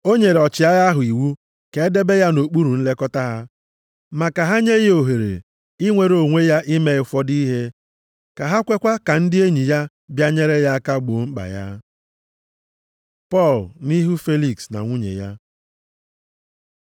O nyere ọchịagha ahụ iwu ka e debe ya nʼokpuru nlekọta ha. Ma ka ha nye ya ohere inwere onwe ya ime ụfọdụ ihe, ka ha kwekwa ka ndị enyi ya bịa nyere ya aka gboo mkpa ya. Pọl nʼihu Feliks na nwunye ya